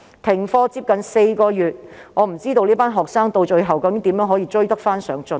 停課近4個月，我不知道這群學生到最後可以如何追得上進度。